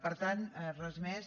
per tant res més